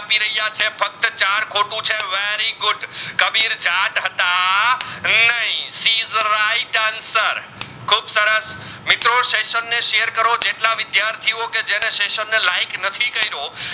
મિત્રો સેસન ને share કરો જેટલા વિદ્યાર્થીઓ જાણે સેસન ને like નથી કર્યો